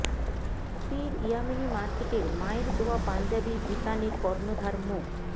পীর ইয়ামেনী মার্কেটের মায়ের দোয়া পাঞ্জাবি বিতাণের কর্ণধার মো